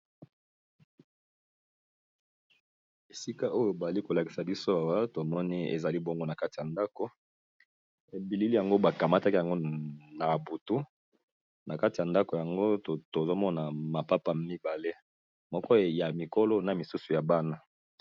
Esika oyo bali ko lakisa biso awa tomoni ezali bongo na kati ya ndako, ebilili yango ba kamataki yango na butu na kati ya ndako yango tozo mona mapapa mibale moko ya mikolo na misusu ya bana.